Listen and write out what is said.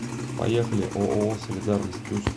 поехали ооо солидарность плюс